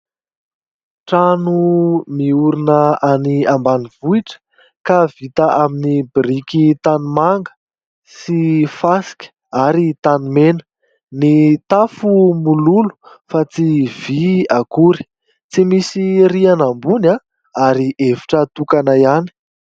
Trano miorina any ambanivohitra ; ka vita amin'ny biriky tanimanga sy fasika ,ary tany mena ; ny tafo mololo fa tsy vy akory , tsy misy rihana ambony ary efitra tokana ihany.